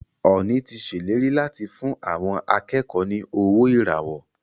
Ọọ̀ni ti ṣèlérí láti fún àwọn akẹ́kọ̀ọ́ ní owó ìràwọ́.